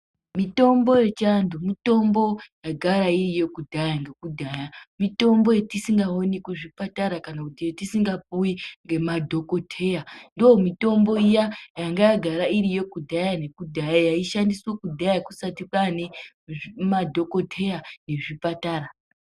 Mitombo yechiandu mitombo yagara iriyo kudhaya ngekudhaya, mitombo yatisingaoni kuzvipatara kana kuti yetisningapuwi ngemadhoteya ndomitombo iya yanga yagara iriyo kudhaya ngekudhaya yaishandiswa kudhaya kusati kwane madhokoteya ezvipatara.